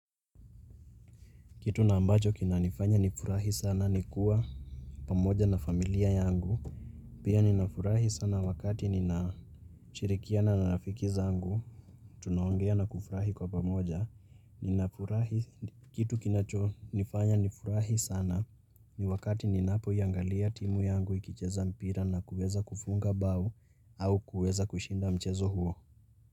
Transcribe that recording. Kitu na ambacho kinanifanya ni furahi sana ni kuwa pamoja na familia yangu. Pia ninafurahi sana wakati ninashirikiana na rafiki zangu. Tunaongea na kufurahi kwa pamoja, ninafurahi, Kitu kinacho nifanya nifurahi sana ni wakati ninaapoiangalia timu yangu ikicheza mpira na kuweza kufunga bao au kuweza kushinda mchezo huo.